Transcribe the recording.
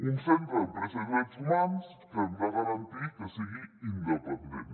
un centre d’empresa i drets humans que hem de garantir que sigui independent